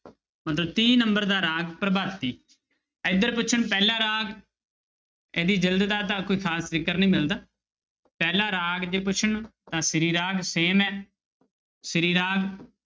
ਤੀਹ number ਦਾ ਰਾਗ ਪ੍ਰਭਾਤੀ, ਇੱਧਰ ਪੁੱਛਣ ਪਹਿਲਾ ਰਾਗ ਇਹਦੀ ਜਿਲਦ ਦਾ ਤਾਂ ਕੋਈ ਖ਼ਾਸ ਜ਼ਿਕਰ ਨਹੀਂ ਮਿਲਦਾ, ਪਹਿਲਾ ਰਾਗ ਜੇ ਪੁੱਛਣ ਤਾਂ ਸ੍ਰੀ ਰਾਗ same ਹੈ ਸ੍ਰੀ ਰਾਗ।